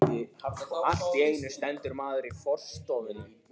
Allt í einu stendur maður í forstofunni.